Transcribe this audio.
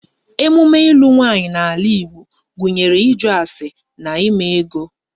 Emume ilu nwaanyị n'ala Igbo gụnyere ịjụ ase na eme ego